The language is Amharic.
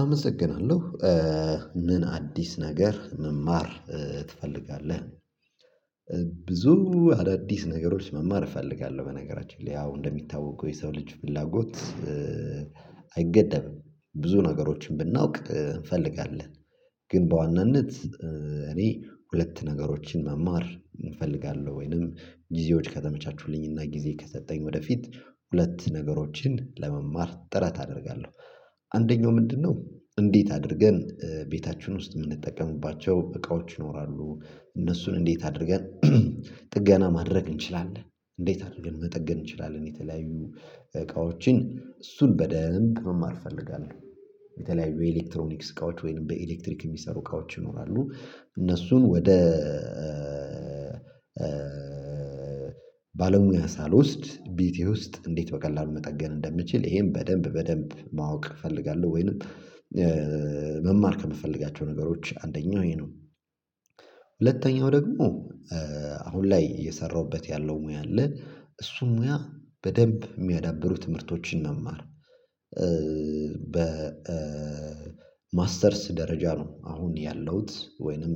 አመሰግናለሁ ምን አዲስ ነገር መማር ትፈልጋለህ? ብዙ አዳዲስ ነገሮች መማር እፈልጋለሁ በነገራችን ላይ ያው እንደሚታወቁ የሰው ልጅ ፍላጎት አይገደብም። ብዙ ነገሮችን ብናውቅ እንፈልጋለን። ግን በዋናነት እኔ ሁለት ነገሮችን መማር እፈልጋለሁ ወይንም ጊዜዎች ከተመቻቹልኝ ጊዜ ከሰጠኝ ወደፊት ሁለት ነገሮችን ለመማር ጥረት አደርጋለሁ። አንደኛው ምንድነው እንዴት አድርገን ቤታችን ውስጥ የምንጠቀሙባቸው እቃዎች ይኖራሉ እነሱን እንዴት አድርገን ጥገና ማድረግ እንችላለን? እንዴት አድርገን መጠገን እንችላለን? የተለያዩ እቃዎችን እሱን በደንብ መማር እፈልጋለሁ። የተለያዩ ኤሌክትሮኒክስ እቃዎች ወይንም በኤሌክትሪክ የሚሰሩ እቃዎች ይኖራሉ። እነሱን ወደ ባለሙያ ሳልወስድ ቤቴ ውስጥ እንዴት በቀላሉ መጠገን እንደምችል ይሄን በደንብ በደንብ ማወቅ እፈልጋለሁ። ወይንም መማር ከምፈልጋቸው ነገሮች አንደኛው ይሄ ነው። ሁለተኛው ደግሞ አሁን ላይ እየሰራውበት ያለው ሙያ አለ እሱም ሙያ በደንብ የሚያዳብሩ ትምህርቶችን መማር። በ ማስተርስ ደረጃ ነው አሁን ያለሁት ወይንም